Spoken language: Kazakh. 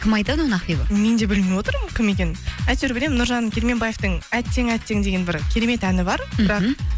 кім айтады оны ақбибі мен де білмей отырмын кім екенін әйтеуір білемін нұржан керменбаевтың әттең әттең деген бір керемет әні бар